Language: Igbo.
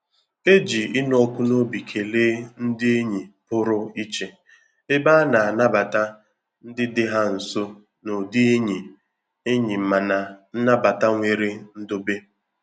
E ji ịnụ ọkụ n'obi kelee ndị enyi pụrụ ichè, ebe a na-anabata ndị dị ha nso n'ụdị enyi enyi ma na nnabata nwere ndobe.